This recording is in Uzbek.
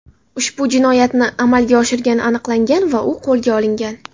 ushbu jinoyatni amalga oshirgani aniqlangan va u qo‘lga olingan.